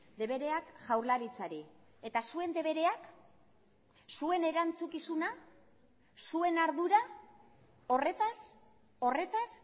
debereak jaurlaritzari eta zuen debereak zuen erantzukizuna zuen ardura horretaz horretaz